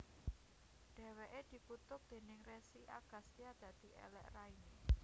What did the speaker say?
Dheweke dikutuk déning Resi Agastya dadi elek raine